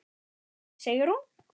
Hún heitir Sigrún.